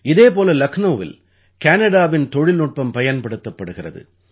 இதே போல லக்னௌவில் கானடாவின் தொழில்நுட்பம் பயன்படுத்தப்படுகிறது